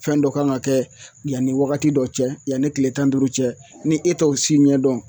Fɛn dɔ kan ka kɛ yani wagati dɔ cɛ yani tile tan ni duuru cɛ ni e t'o si ɲɛdɔn